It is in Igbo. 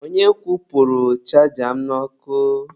Onye kwụpụrụ chaja m n'ọkụ?